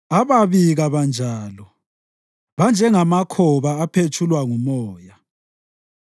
Ababi kabanjalo! Banjengamakhoba aphetshulwa ngumoya.